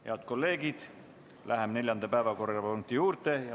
Head kolleegid, läheme neljanda päevakorrapunkti juurde.